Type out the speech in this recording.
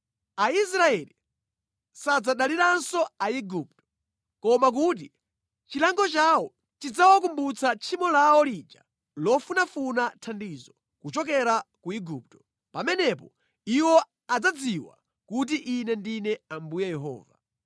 Aisraeli sadzadaliranso Aigupto. Koma kuti chilango chawo chidzawakumbutsa tchimo lawo lija lofunafuna thandizo kuchokera ku Igupto. Pamenepo iwo adzadziwa kuti Ine ndine Ambuye Yehova.’ ”